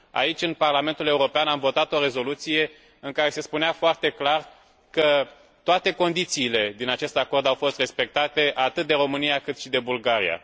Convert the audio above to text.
Aici, în Parlamentul European, am votat o rezoluție în care se spunea foarte clar că toate condițiile din acest acord au fost respectate, atât de România, cât și de Bulgaria.